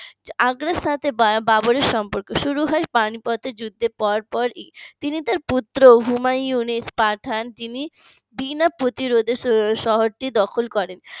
আগ্রার সাথে বা বাবর এর সম্পর্ক শুরু হয় পানিপথের যুদ্ধের পরপর তিনি তার পুত্র হুমায়ুনের পাঠান যিনি বিনা প্রতিরোধে শহরটি দখল করেন